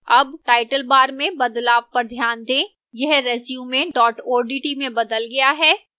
अब title bar में बदलाव पर ध्यान दें यह resume odt में बदल गया है